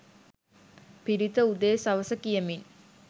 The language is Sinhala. පිරිත, උදේ සවස කියමින්